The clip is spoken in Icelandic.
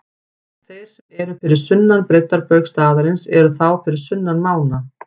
Þeir sem eru fyrir sunnan breiddarbaug staðarins eru þá fyrir sunnan mána.